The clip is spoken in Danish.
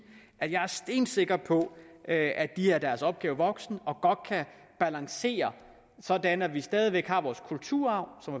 at jeg er stensikker på at de er deres opgave voksen og godt kan balancere sådan at vi stadig væk har vores kulturarv som